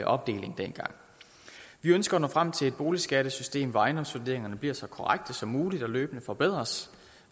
opdeling dengang vi ønsker at nå frem til et boligskattesystem hvor ejendomsvurderingerne bliver så korrekte som muligt og løbende forbedres